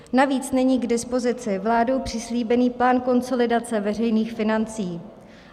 Navíc není k dispozici vládou přislíbený plán konsolidace veřejných financí.